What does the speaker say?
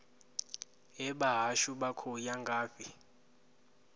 hee vhahashu vha khou ya ngafhi